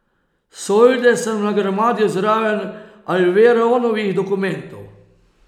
Solde sem nagrmadil zraven Alveronovih dokumentov.